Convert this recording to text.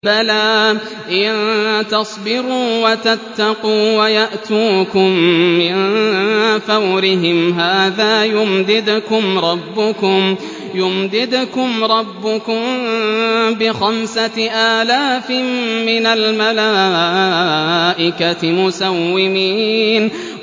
بَلَىٰ ۚ إِن تَصْبِرُوا وَتَتَّقُوا وَيَأْتُوكُم مِّن فَوْرِهِمْ هَٰذَا يُمْدِدْكُمْ رَبُّكُم بِخَمْسَةِ آلَافٍ مِّنَ الْمَلَائِكَةِ مُسَوِّمِينَ